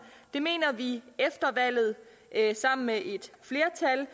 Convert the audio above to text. det mener vi efter valget sammen med et flertal